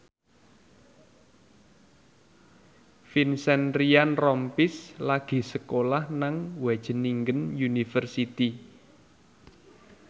Vincent Ryan Rompies lagi sekolah nang Wageningen University